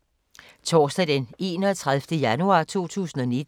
Torsdag d. 31. januar 2019